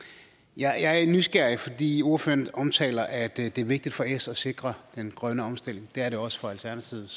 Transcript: jeg er nysgerrig fordi ordføreren omtaler at det er vigtigt for s at sikre den grønne omstilling det er det også for alternativet